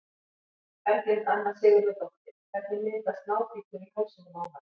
Berglind Anna Sigurðardóttir Hvernig myndast nábítur í hálsinum á manni?